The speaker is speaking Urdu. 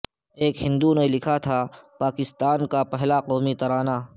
ایک ہندو نے لکھا تھا پاکستان کا پہلا قومی ترانہ